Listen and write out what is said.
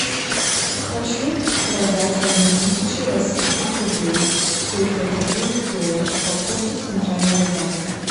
хочу продать одну тысячу российских рублей сколько это будет в долларах по курсу центрального банка